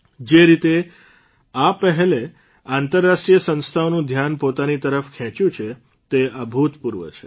જે રીતે આ પહેલે આંતરરાષ્ટ્રીય સંસ્થાઓનું ધ્યાન પોતાની તરફ ખેંચ્યું છે તે અભૂતપૂર્વ છે